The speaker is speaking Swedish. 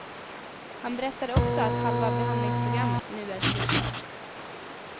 Han berättade också att halva behandlingsprogrammet nu är slutfört.